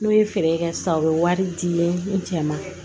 N'o ye feere kɛ sisan u bɛ wari di ne cɛ ma